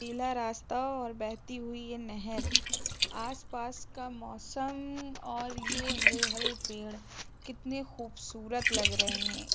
नीला रास्ता और बहती हुई ये नहर आस पास का मौसम और ये हरे हरे पेड़ कितने खूबसूरत लग रहे हैं |